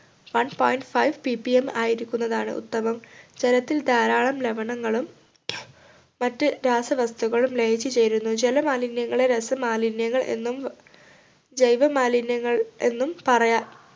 one point fivePPM ആയിരിക്കുന്നതാണ് ഉത്തമം ജലത്തിൽ ധാരാളം ലവണങ്ങളും മറ്റ് രാസവസ്തുക്കളും ലയിച്ചു ചേരുന്നു ജല മാലിന്യങ്ങളെ രാസമാലിന്യങ്ങൾ എന്നും ജൈവമാലിന്യങ്ങൾ എന്നും പറയാം